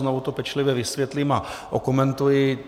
Znovu to pečlivě vysvětlím a okomentuji.